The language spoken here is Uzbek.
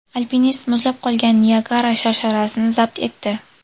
Alpinist muzlab qolgan Niagara sharsharasini zabt etdi.